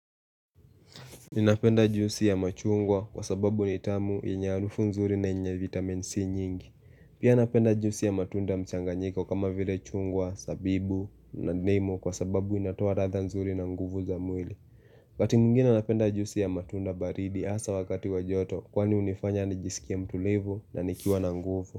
Ninapenda juisi ya machungwa kwa sababu ni tamu ina harufu nzuri na ina vitamin C nyingi. Pia napenda juisi ya matunda mchanganyiko kama vile chungwa, zabibu, na ndimu kwa sababu inatoa ladha nzuri na nguvu za mwili. Wakati mwingine napenda juisi ya matunda baridi hasa wakati wa joto kwani hunifanya nijisikie mtulivu na nikiwa na nguvu.